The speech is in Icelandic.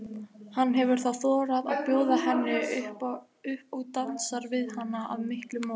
Hann hefur þá þorað að bjóða henni upp og dansar við hana af miklum móði.